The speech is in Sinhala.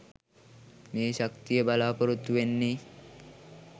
මේ ශක්තිය බලාපොරොත්තු වෙන්නෙ?